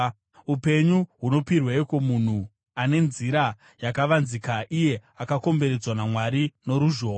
Upenyu hunopirweiko munhu ane nzira yakavanzika, iye akakomberedzwa naMwari noruzhowa?